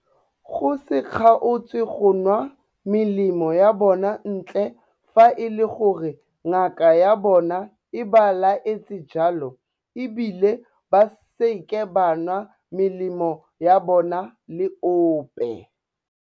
Go se kgaotse go nwa melemo ya bona ntle fa e le gore ngaka ya bona e ba laetse jalo e bile ba seke ba nwa melemo ya bona le ope.